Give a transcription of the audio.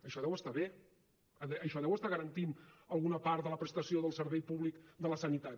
això deu estar bé això deu estar garantint alguna part de la prestació del servei públic de la sanitat